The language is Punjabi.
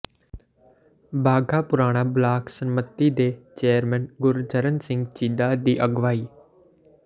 ਬਾਘਾਪੁਰਾਣਾ ਬਲਾਕ ਸੰਮਤੀ ਦੇ ਚੇਅਰਮੈਨ ਗੁਰਚਰਨ ਸਿੰਘ ਚੀਦਾ ਦੀ ਅਗਵਾਈ